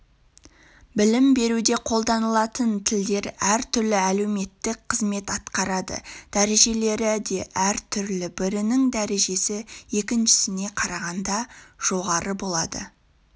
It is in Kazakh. білім беруде қолданылатын тілдер әртүрлі әлеуметтік қызмет атқарады дәрежелері де әртүрлі бірінің дәрежесі екіншісіне қарағанда жоғары болады